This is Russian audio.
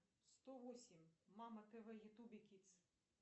сто восемь мама тв ютуб кидс